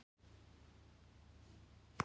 Sárið er með sléttu og hörðu yfirborði.